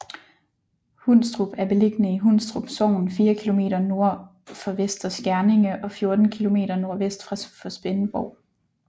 Hundstrup er beliggende i Hundstrup Sogn fire kilometer nord for Vester Skjerninge og 14 kilometer nordvest for Svendborg